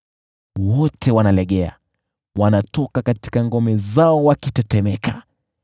Wote wanalegea, wanatoka katika ngome zao wakitetemeka.